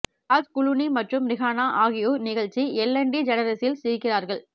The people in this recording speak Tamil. ஜார்ஜ் குளூனி மற்றும் ரிஹானா ஆகியோர் நிகழ்ச்சி எல்லென் டிஜெனெரெஸில் சிரிக்கிறார்கள்